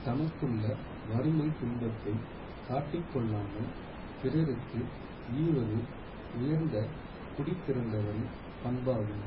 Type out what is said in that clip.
தமக்குள்ள வறுமை துன்பத்தை காட்டிக்கொள்ளாமல் பிறருக்கு ஈவது உயர்ந்த குடிப்பிறந்தவரின் பண்பாகும்